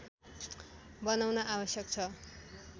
बनाउन आवश्यक छ